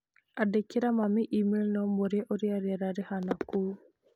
Andĩkĩra mami e-mail na ũmũũrie ũrĩa rĩera rĩhaana kũu.